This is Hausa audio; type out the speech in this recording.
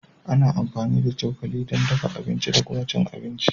Ana amfani da cokali don dafa abinci da kuma cin abinci